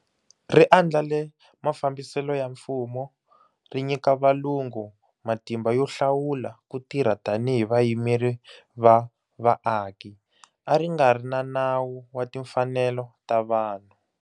Ri andlale mafambiselo ya mfumo, ri nyika valungu matimba yo hlawula ku tirha tanihi vayimeri va vaaki. A ri nga ri na Nawu wa Timfanelo ta Vanhu.